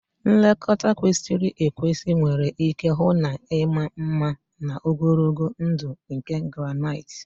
Nlekọta kwesịrị ekwesị nwere ike hụ na ịma mma na ogologo ndụ nke granite